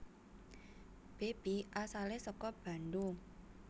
Beby asalé saka Bandung